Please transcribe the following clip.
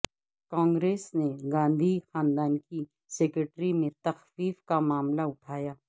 کانگریس نے گاندھی خاندان کی سیکورٹی میں تخفیف کا معاملہ اٹھایا